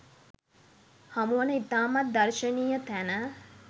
හමුවන ඉතාමත් දර්ශනීය තැන